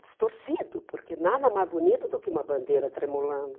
distorcido, porque nada mais bonito do que uma bandeira tremulando.